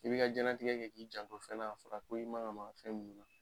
I bi ka jɛlatigɛ kɛ k'i janko fɛn na, a fɔra ko i man ga maka fɛn mun na.